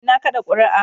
Eh, na kada kuri'a.